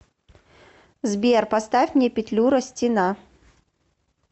сбер поставь мне петлюра стена